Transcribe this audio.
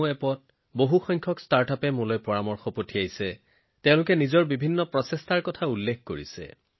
কেইবাটাও ষ্টাৰ্টআপেও তেওঁলোকৰ বিভিন্ন অনন্য প্ৰচেষ্টাৰ বিষয়ে আলোচনা কৰি মোলৈ নমো এপৰ ওপৰত তেওঁলোকৰ পৰামৰ্শ প্ৰেৰণ কৰিছে